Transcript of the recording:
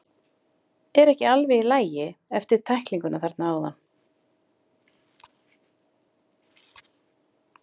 Ertu ekki alveg í lagi, eftir tæklinguna þarna áðan?